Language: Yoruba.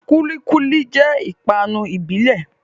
Kúlí kúlí jẹ́ ìpápánu ìbílẹ̀